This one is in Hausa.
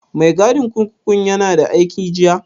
Mai gadin kurkukun ya na da aiki jiya?